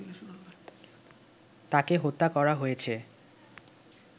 তাকে হত্যা করা হয়েছে